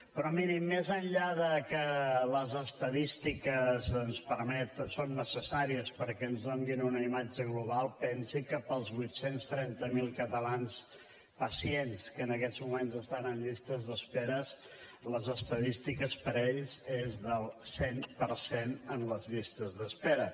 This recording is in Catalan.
però miri més enllà de que les estadístiques són necessàries perquè ens donin una imatge global pensi que pels vuit cents i trenta miler catalans pacients que en aquests moments estan en llistes d’espera les estadístiques per ells són del cent per cent en les llistes d’espera